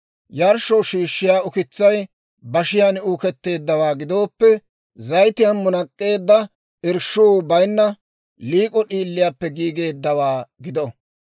« ‹Yarshshoo shiishshiyaa ukitsay bashiyaan uuketteeddawaa gidooppe, zayitiyaan munak'k'eedda, irshshuu bayna, liik'o d'iiliyaappe giigeeddawaa gido.